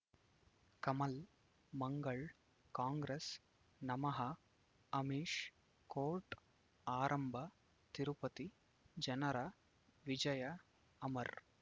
ಕಮಲ್ ಮಂಗಳ್ ಕಾಂಗ್ರೆಸ್ ನಮಃ ಅಮಿಷ್ ಕೋರ್ಟ್ ಆರಂಭ ತಿರುಪತಿ ಜನರ ವಿಜಯ ಅಮರ್